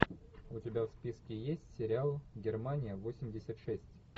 у тебя в списке есть сериал германия восемьдесят шесть